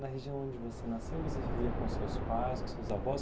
Na região onde você nasceu, você vivia com seus pais, com seus avós?